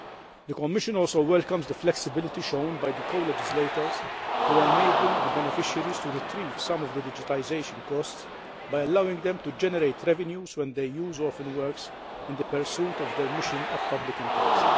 The Commission also welcomes the flexibity shown by the co legislators to enable the beneficiaries to retrieve some of the digitisation costs by allowing them to generate revenues when they use orphan works in the pursuit of their mission of public interest.